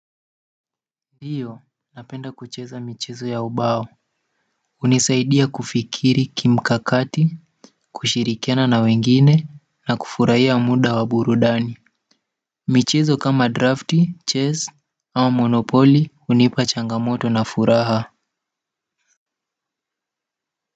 Ndiyo napenda kucheza michezo ya ubao. Hunisaidia kufikiri kimkakati, kushirikiana na wengine na kufurahia muda wa burudani michezo kama drafti, chess au monopoli hunipa changamoto na furaha.